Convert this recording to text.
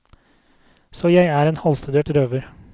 Så jeg er en halvstudert røver.